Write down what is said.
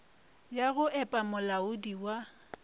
ya go epa molaodi wa